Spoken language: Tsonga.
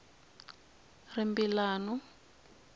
rimbilano